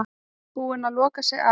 Búin að loka sig af